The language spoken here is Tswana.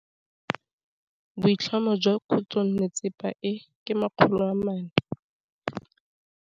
Boatlhamô jwa khutlonnetsepa e, ke 400.